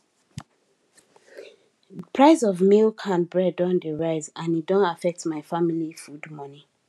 price of milk and bread don dey rise and e don affect my family food money